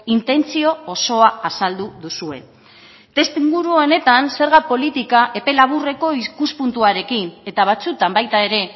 intentzio osoa azaldu duzue testuinguru honetan zerga politika epe laburreko ikuspuntuarekin eta batzuetan baita ere